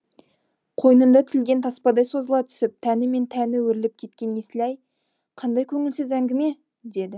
қойнында тілген таспадай созыла түсіп тәні мен тәні өріліп кеткен есілай қандай көңілсіз әңгіме деді